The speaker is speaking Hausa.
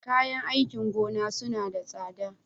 Kayan aikin gona suna da tsada?